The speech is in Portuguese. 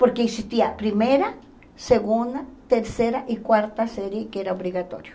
Porque existia primeira, segunda, terceira e quarta série que era obrigatório.